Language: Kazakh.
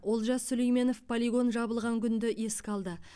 олжас сүлейменов полигон жабылған күнді еске алды